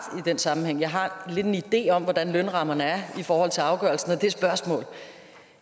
den sammenhæng jeg har lidt en idé om hvordan lønrammerne er i forhold til afgørelsen af